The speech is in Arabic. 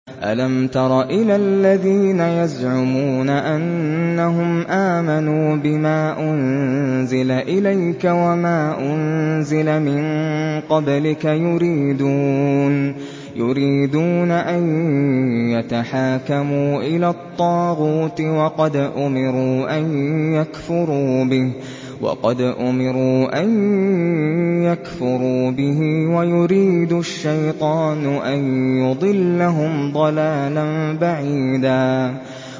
أَلَمْ تَرَ إِلَى الَّذِينَ يَزْعُمُونَ أَنَّهُمْ آمَنُوا بِمَا أُنزِلَ إِلَيْكَ وَمَا أُنزِلَ مِن قَبْلِكَ يُرِيدُونَ أَن يَتَحَاكَمُوا إِلَى الطَّاغُوتِ وَقَدْ أُمِرُوا أَن يَكْفُرُوا بِهِ وَيُرِيدُ الشَّيْطَانُ أَن يُضِلَّهُمْ ضَلَالًا بَعِيدًا